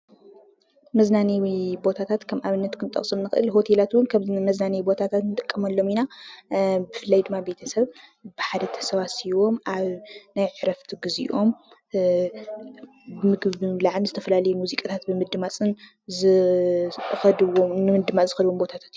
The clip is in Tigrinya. መዝናነይ ቦታታት ከም ኣብነት ክንጠቅሶም ንክእል ኢና፡፡ ሆቴላት እውን ከም መዝናነይ ክንጥቀመሎም ንክእል ኢና፡፡ ብፍላይ ድማ ቤተሰብ ብሓደ ተሰባሲቦም ኣብ ናይ ዕረፍቲ ግዜኦም ብምግቢ ብምብላዕን ዝተፈላለዩ ሙዚቃታት ብምድማፅን ዝከድዎም ቦታታት እዮም፡፡